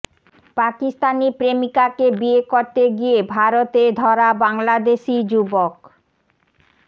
পাকিস্তানি প্রেমিকাকে বিয়ে করতে গিয়ে ভারতে ধরা বাংলাদেশি যুবক